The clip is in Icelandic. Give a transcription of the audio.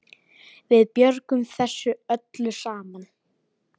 Við björgum þessu öllu saman.